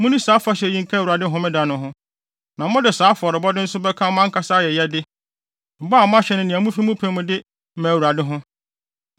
Munni saa afahyɛ yi nka Awurade Homeda no ho. Na mode saa afɔrebɔde nso bɛka mo ankasa ayɛyɛde, bɔ a moahyɛ ne nea mufi mo pɛ mu de ma Awurade ho.